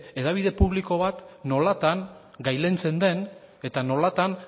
hedabide publiko bat nolatan gailentzen den eta nolatan